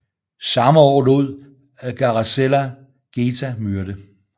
Samme år lod Caracalla Geta myrde